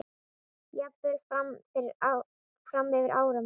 Jafnvel fram yfir áramót.